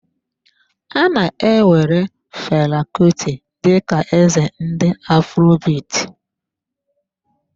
A na-ewere Fela Kuti dị ka eze ndị afrobit.